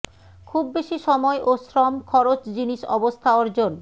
খুব বেশি সময় ও শ্রম খরচ জিনিস অবস্থা অর্জন